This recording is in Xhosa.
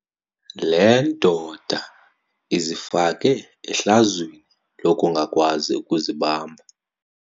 Le ndoda izifake ehlazweni lokungakwazi ukuzibamba.